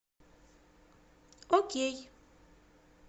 окей